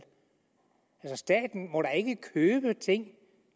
men staten må da ikke købe ting